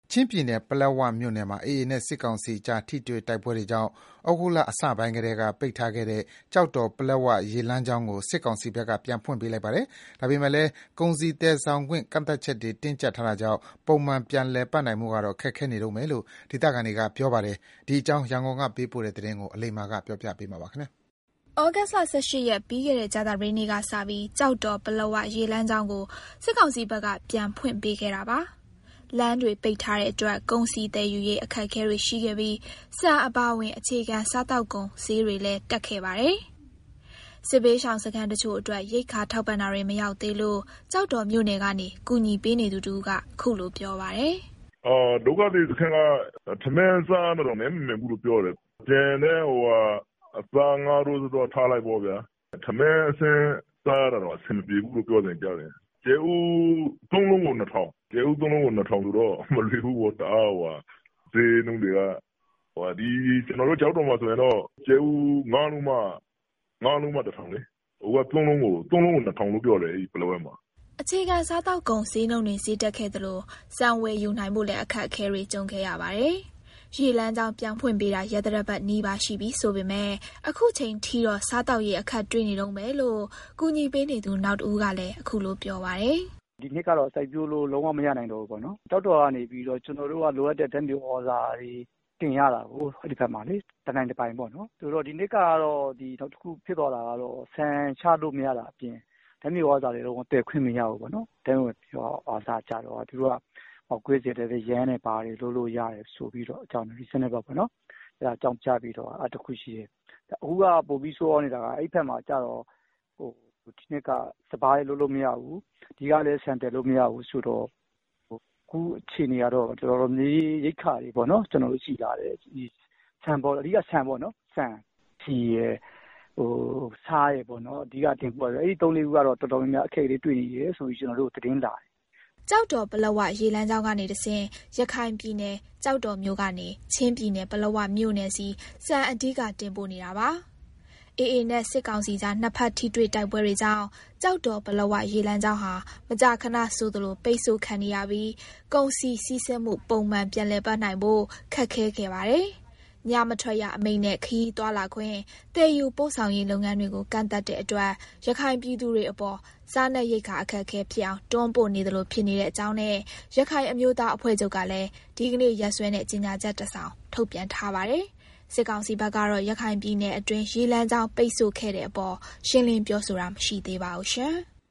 ချင်းပြည်နယ်၊ ပလက်ဝမြို့နယ်မှာ AA နဲ့ စစ်ကောင်စီကြား ထိတွေ့တိုက်ပွဲတွေကြောင့် ဩဂုတ်လအစပိုင်းကတည်းက ပိတ်ထားခဲ့တဲ့ ကျောက်တော် - ပလက်ဝ ရေလမ်းကြောင်းကို စစ်ကောင်စီဘက်က ပြန်ဖွင့်ပေးလိုက်ပါတယ်။ ဒါပေမယ့်လည်း ကုန်စည်သယ်ဆောင်ခွင့် ကန့်သတ်ချက်တွေ တင်းကျပ်ထားတာကြောင့် ပုံမှန်ပြန်လည်ပတ်နိုင်ဖို့ကတော့ ခက်ခဲနေတုန်းပဲလို့ ဒေသခံတွေကပြောပါတယ်။ ဒီအကြောင်း ရန်ကုန်ကပေးပို့တဲ့ သတင်းကို အလိမ္မာက တင်ပြပေးထားပါတယ်။ ဩဂုတ်လ ၁၈ ရက်၊ ပြီးခဲ့တဲ့ ကြာသပတေးနေ့ကစပြီး ကျော်တော် ပလက်ဝ ရေလမ်းကြောင်းကို စစ်ကောင်စီဘက်က ပြန်ဖွင့်ပေးခဲ့တာပါ။ လမ်းတွေပိတ်ထားတဲ့အတွက် ကုန်စည်သယ်ယူရေး အခက်အခဲတွေရှိခဲ့ပြီး ဆန်အပါအဝင် အခြေခံစားသောက်ကုန် ဈေးတွေလည်း တက်ခဲ့ပါတယ်။ စစ်ဘေးရှောင်စခန်းတချို့အတွက် ရိက္ခာထောက်ပံ့တာတွေ မရောက်သေးဘူးလို့ ကျောက်တော်မြို့ကနေ ကူညီပေးနေသူတဦးက ပြောပါတယ်။ "ဒုက္ခသည်စခန်းက ထမင်းစားရတာတောင် နပ်မမှန်ဘူးလို့ပြောတယ်။ ကျန်တဲ့ အသား၊ ငါးကတော့ ထားလိုက်ပေါ့ဗျာ။ ထမင်းအဆင့်စားရဖို့တောင် နပ်မမှန်ဘူးလို့ပြောတယ်။ ကြက်ဥ ၃ လုံးကို ၂ ထောင်ဆိုတော့ စားရဖို့က မလွယ်ဘူးပေါ့။ ဈေးနှုန်းတွေက ကျနော်တို့ ကျောက်တော်မှာဆိုရင်တော့ ကြက်ဥ ၅ လုံးမှ ၁ ထောင်လေ။ အခု ပလက်ဝမှာက ကြက်ဥ ၃ လုံးကို ၂ ထောင်ဖြစ်နေတယ်။" အခြေခံစားသောက်ကုန် ဈေးနှုန်းတွေ ဈေးတက်ခဲ့သလို ဆန်ဝယ်ယူနိုင်ဖို့လည်း အခက်အခဲတွေ ကြုံခဲ့ရပါတယ်။ ရေလမ်းကြောင်း ပြန်ဖွင့်ပေးတာ ရက်သတ္တပတ်နီးပါး ရှိပြီဆိုပေမယ့် အခုချိန်ထိတော့ စားသောက်ရေး အခက်တွေ့နေတုန်းပဲလို့ ကူညီပေးနေသူ နောက်တဦးကလည်း ပြောပါတယ်။ "ဒီနှစ်ကတော့ စိုက်ပျိုးလို့ လုံးဝမရနိုင်တော့ဘူးပေါ့။ ကျောက်တော်မြို့ကနေပြီးတော့ ကျနော်တို့က လိုအပ်တဲ့ဓာတ်မြေဩဇာတွေ တနိုင်တပိုင်တင်ရတာကို။ ဆိုတော့ ဒီနှစ်ကတော့ နောက်တခုဖြစ်သွားတာက ဆန်ချလို့မရတာအပြင် ဓာတ်မြေဩဇာတွေလည်း ဝင်သယ်ခွင့်မရဘူးပေါ့နော်။ ဓာတ်မြေဩဇာကျတော့ ပေါက်ကွဲစေတတ်တဲ့ ယမ်းတွေဘာတွေ လုပ်လို့ရတယ် ဆိုပြီးတော့ အကြောင်းပြတာ။ အခုက ပိုပြီးဆိုးရွားနေတာက အဲဒီဘက်မှာ ဒီနှစ်က စပါးလည်း လုပ်လို့မရဘူး။ ဒီကလည်း ဆန်သယ်လို့မရဘူး။ ဆိုတော့ အခုအခြေအနေကတော့ ရိက္ခာ တော်တော်လေးခက်ခဲနေတယ်။ အဓိက ဆန်ပေါ့နော်။ ဆန်၊ ဆီ၊ ဆား အဲဒါတွေကတော့ တော်တော်လေးခက်ခဲနေတယ်။" ကျောက်တော် - ပလက်ဝ ရေလမ်းကြောင်းကနေတဆင့် ရခိုင်ပြည်နယ်၊ ကျောက်တော်မြို့ ကနေ ချင်းပြည်နယ်၊ ပလက်ဝမြို့နယ်ဆီ ဆန်အဓိက တင်ပို့ပေးနေတာပါ။ AA နဲ့ စစ်ကောင်စီကြား နှစ်ဘက်ထိတွေ့တိုက်ပွဲတွေကြောင့် ကျောက်တော် - ပလက်ဝ ရေလမ်းကြောင်းဟာ မကြာခဏဆိုသလို ပိတ်ဆို့ခံနေရပြီး ကုန်စည်စီးဆင်းမှု ပုံမှန်ပြန်လည်ပတ်နိုင်ဖို့ ခက်ခဲခဲ့ပါတယ်။ ညမထွက်ရအမိန့်နဲ့ ခရီးသွားလာခွင့်၊ သယ်ယူပို့ဆောင်ရေးလုပ်ငန်းတွေကို ကန့်သတ်တဲ့အတွက် ရခိုင်ပြည်သူတွေအပေါ် စားနပ်ရိက္ခာအခက်အခဲဖြစ်အောင် တွန်းပို့နေသလို ဖြစ်နေကြောင်းနဲ့ ရခိုင်အမျိုးသားအဖွဲ့ချုပ်ကလည်း ဒီနေ့ ရက်စွဲနဲ့ ကြေညာချက် တစောင် ထုတ်ပြန်ထားပါတယ်။ စစ်ကောင်စီဘက်ကတော့ ရခိုင်ပြည်နယ်အတွင်း ရေလမ်းကြောင်း ပိတ်ဆိုခဲ့တဲ့အပေါ် ရှင်းလင်းပြောဆိုတာ မရှိသေးပါဘူး။